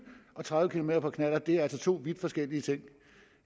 og tredive kilometer på knallert er to vidt forskellige ting